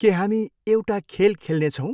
के हामी एउटा खेल खेल्नेछौँ?